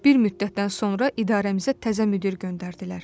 Bir müddətdən sonra idarəmizə təzə müdir göndərdilər.